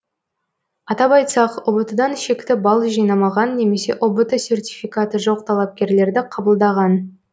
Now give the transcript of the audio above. атап айтсақ ұбт дан шекті балл жинамаған немесе ұбт сертификаты жоқ талапкерлерді қабылдаған